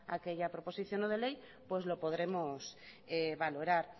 aquella proposición no de ley pues lo podremos valorar